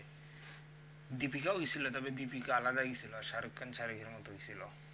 deepika ও গেছিল তবে deepika আলাদা গেছিল আর shahrukh khan গেছিল